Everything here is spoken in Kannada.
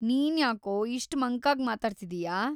ನೀನ್ಯಾಕೋ ಇಷ್ಟ್ ಮಂಕಾಗ್‌ ಮಾತಾಡ್ತಿದೀಯಾ?